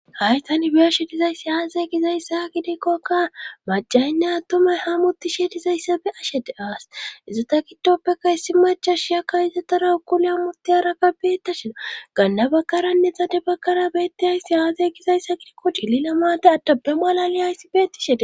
hay tan beyashe dizayssi aaze gizayssa gidikkoka macaynne attumay hamutishe dizayssa be'ashede awas izata gidoppeka issi macha shiyakka izatara ukule amoti araka beetta shina ganda bakaranne xade bakara beetti hayssi aazay gizayssa gidikko dillilamate addabe maalali hayssi betti shede